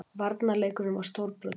Varnarleikurinn var stórbrotinn